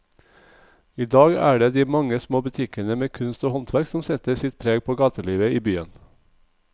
I dag er det de mange små butikkene med kunst og håndverk som setter sitt preg på gatelivet i byen.